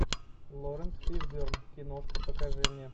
лоренс фишберн киношка покажи мне